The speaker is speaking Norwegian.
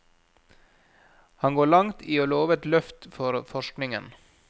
Han går langt i å love et løft for forskningen.